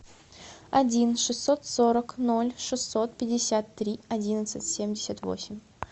один шестьсот сорок ноль шестьсот пятьдесят три одиннадцать семьдесят восемь